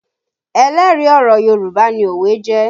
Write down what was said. Ẹlẹ́rìí ọ̀rọ̀ Yorùbá ni òwe jẹ́